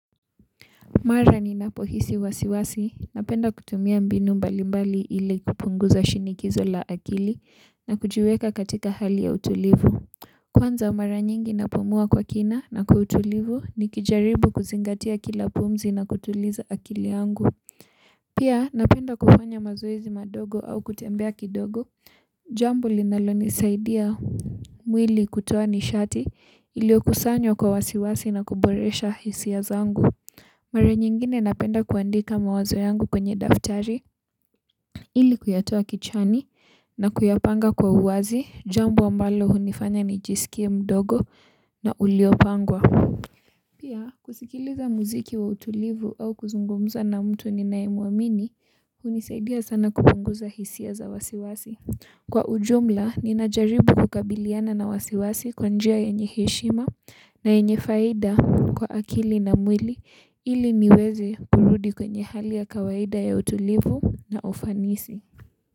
Mara ninapo hisi wasiwasi, napenda kutumia mbinu mbali mbali ili kupunguza shinikizo la akili na kujiweka katika hali ya utulivu. Kwanza mara nyingi napumua kwa kina na kwa utulivu ni kijaribu kuzingatia kila pumzi na kutuliza akili yangu. Pia napenda kufanya mazoezi madogo au kutembea kidogo, jambo linalo nisaidia mwili kutoa nishati iliyokusanywa kwa wasiwasi na kuboresha hisia zangu. Mara nyingine napenda kuandika mawazo yangu kwenye daftari, ili kuyatoa kichwani na kuyapanga kwa uwazi, jambo ambalo hunifanya ni jisikie mdogo na uliopangwa. Pia, kusikiliza muziki wa utulivu au kuzungumza na mtu ninaye muamini hunisaidia san kupunguza hisia za wasi wasi kwa ujumla, ninajaribu kukabiliana na wasiwasi kwanjia yenye heshima na yenye faida kwa akili na mwili ili niweze kurudi kwenye hali ya kawaida ya utulivu na ufanisi.